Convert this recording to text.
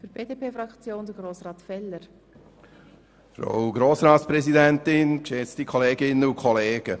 Das möchte ich auch noch öffentlich bekunden, und ich hoffe, dass wir bei der nächsten Vakanz auch so behandelt werden.